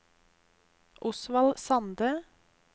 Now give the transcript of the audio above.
Osvald Sande